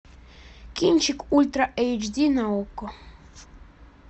кинчик ультра эйчди на окко